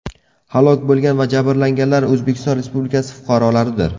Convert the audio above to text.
Halok bo‘lgan va jabrlanganlar O‘zbekiston Respublikasi fuqarolaridir.